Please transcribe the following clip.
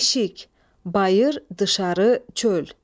Eşik, bayır, dışarı, çöl.